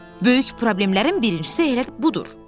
Böyük problemlərin birincisi elə budur.